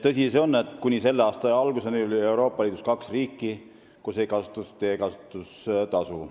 Tõsi on see, et kuni selle aasta alguseni oli Euroopa Liidus kaks riiki, kus ei olnud teekasutustasu.